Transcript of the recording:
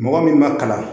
Mɔgɔ min ma kalan